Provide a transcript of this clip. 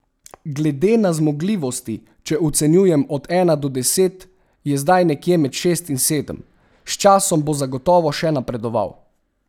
Glede na zmogljivosti, če ocenjujem od ena do deset, je zdaj nekje med šest in sedem, s časom bo zagotovo še napredoval.